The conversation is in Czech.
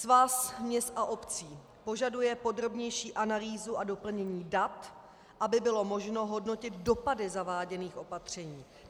Svaz měst a obcí požaduje podrobnější analýzu a doplnění dat, aby bylo možno hodnotit dopady zaváděných opatření.